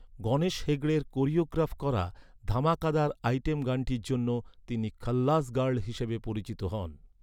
গণেশ হেগড়ের কোরিওগ্রাফ করা ধামাকাদার আইটেম গানটির জন্য তিনি 'খাল্লাস গার্ল' হিসেবে পরিচিত হন।